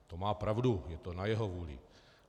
To má pravdu, je to na jeho vůli.